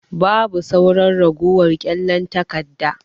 Babu sauran ragowar kyallen takarda.